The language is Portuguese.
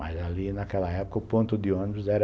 Mas ali, naquela época, o ponto de ônibus era